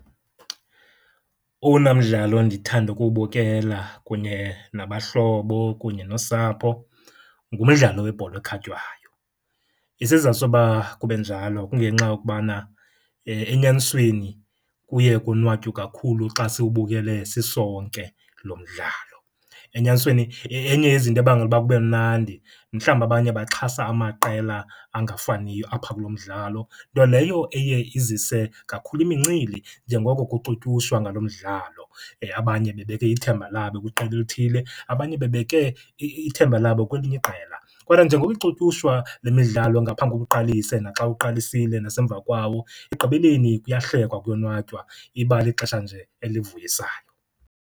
Owona mdlalo ndithanda ukuwubukela kunye nabahlobo kunye nosapho ngumdlalo webhola ekhatywayo. Isizathu soba kube njalo kungenxa yokubana, enyanisweni kuye konwatywe kakhulu xa siwubukele sisonke lo mdlalo. Enyanisweni, enye yezinto ebangela uba kube mnandi, mhlawumbi abanye baxhasa amaqela angafaniyo apha kulo mdlalo. Nto leyo eye izise kakhulu imincili njengoko kuxutyushwa ngalo mdlalo, abanye bebeke ithemba labo kwiqela elithile, abanye bebeke ithemba labo kwelinye iqela. Kodwa njengoba ixutyushwa le midlalo ngaphambi kokuba uqalise, naxa uqalisile, nasemva kwawo, ekugqibeleni kuyahlekwa kuyonwatywa, iba lixesha nje elivuyisayo.